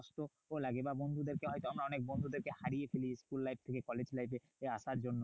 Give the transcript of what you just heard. দুঃখ লাগে বা বন্ধুদেরকে হয়তো আমরা অনেক বন্ধুদেরকে হারিয়ে ফেলি school life থেকে কলেজ life এ আসার জন্য।